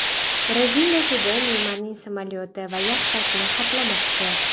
Braziliya sudi Neymarning samolyoti va yaxtasini xatlamoqchi.